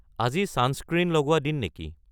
আজি ছানস্ক্ৰীণ লগোৱা দিন নেকি